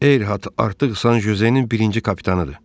Eyhart artıq San Jozenin birinci kapitanıdır.